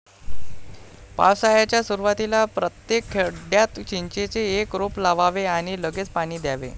पावसाळ्याच्या सुरुवातीला प्रत्येक खड्ड्यात चिंचेचे एक रोप लावावे आणि लगेच पाणी द्यावे.